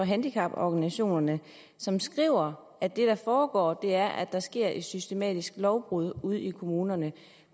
handicaporganisationerne som skriver at det der foregår er at der sker et systematisk lovbrud ude i kommunerne